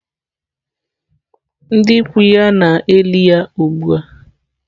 Ndị ikwu ya na-eli ya ugbu a.